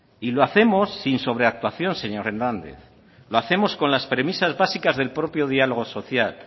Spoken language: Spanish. y lo hacemos sin sobreactuación señor hernández lo hacemos con las premisas básicas del propio diálogo social